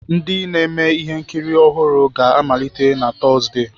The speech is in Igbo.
Ndi na-eme ihe nkiri ọhụrụ ga-amaliteghachi na Tọzdee.